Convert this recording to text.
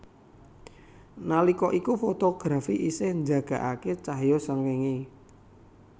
Nalika iku fotografi isih njagakake cahya srengenge